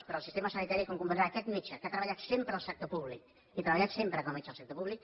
però el sistema sanitari com comprendrà aquest metge que ha treballat sempre al sector públic he treballat sempre com a metge al sector públic